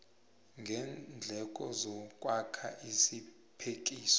ngeendleko zokwakha isiphekiso